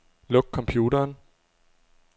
Luk computeren.